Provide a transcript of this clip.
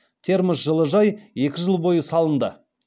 термос жылыжай екі жыл бойы салынды